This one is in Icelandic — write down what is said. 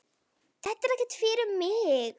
Þetta er ekkert fyrir mig.